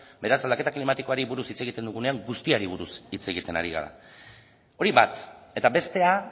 beraz aldaketa klimatikoari buruz hitz egiten dugunean guztiari buruz hitz egiten ari gara hori bat eta bestea